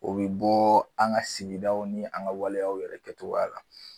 O bɛ bɔ an ka sigidaw ni an ka waleya yɛrɛ kɛcogoya la